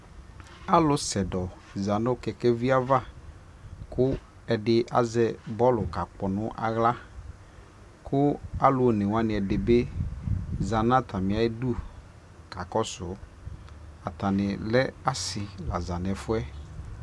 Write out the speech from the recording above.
alʋ sɛdɔ zanʋ kɛkɛvi aɣa kʋ ɛdi azɛ bɔlʋ ka kpɔ nʋ ala kʋ alʋ ɔnɛ wanibi zanʋatami ʋdʋ kakɔsʋ, atani lɛ asii la zanʋ ɛƒʋɛ